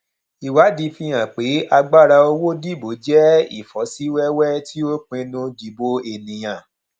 ìwádìí fi hàn pé agbára owó dìbò jẹ ìfọsíwẹwẹ tí ó pinnu dìbò ènìyàn